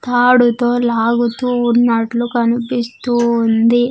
తాడుతో లాగుతూ ఉన్నట్లు కనిపిస్తూ ఉంది.